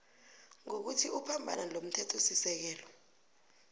ngokuthi uphambana nomthethosisekelo